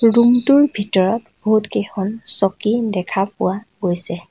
Room টোৰ ভিতৰত বহুত কেইখন চকী দেখা পোৱা গৈছে।